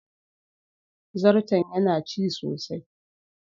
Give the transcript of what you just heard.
Zarton yana ci sosai.